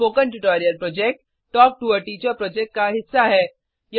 spoken tutorial project talk to a teacher project का हिस्सा है